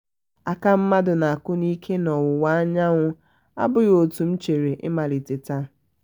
aka mmadụ na akụ n'ike n'ọwụwa anyanwụ abụghị otú m chere ịmalite taa